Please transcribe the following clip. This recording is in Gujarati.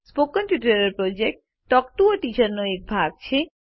સ્પોકન ટ્યુટોરિયલ પ્રોજેક્ટ એ ટોક ટુ અ ટીચર પ્રોજેક્ટનો એક ભાગ છે